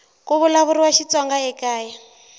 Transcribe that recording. ku vulavuriwa xitsonga ekaya